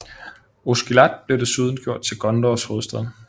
Osgiliath blev desuden gjort til Gondors hovedstad